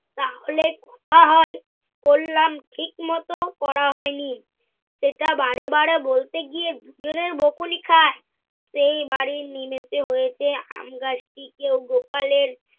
তাহলে কথা হয়। করলাম ঠিক মত করা হয় নি। সেটা বারে বারে বলতে গিয়ে দুজনেই বকুনি খায়। সেই বাড়ির নিমিষে হয়েছে আমগাছটিকে গোপালের